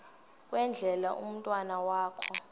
kwendele umntwana wakho